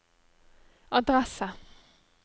adresse